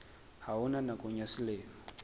ha ona nakong ya selemo